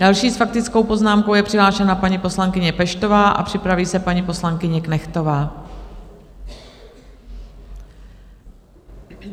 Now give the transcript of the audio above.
Další s faktickou poznámkou je přihlášena paní poslankyně Peštová a připraví se paní poslankyně Knechtová.